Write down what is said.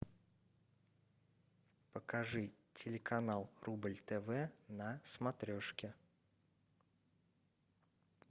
покажи телеканал рубль тв на смотрешке